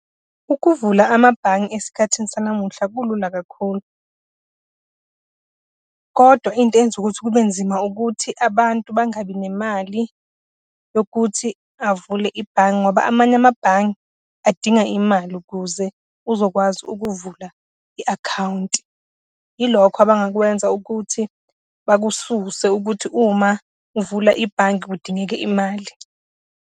Ukuvula amabhange esikhathini sanamuhla kulula kakhulu. Kodwa into eyenza ukuthi kubenzima, ukuthi abantu bangabi nemali yokuthi avule ibhange ngoba amanye amabhange adinga imali ukuze uzokwazi ukuvula i-akhawunti. Ilokho abangakwenza ukuthi bakususe ukuthi uma uvula ibhange kudingeka imali.